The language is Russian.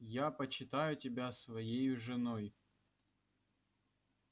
я почитаю тебя своею женой